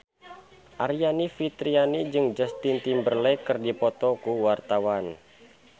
Aryani Fitriana jeung Justin Timberlake keur dipoto ku wartawan